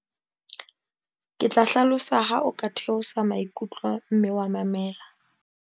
ke tla hlalosa ha o ka theosa maikutlo mme wa mamela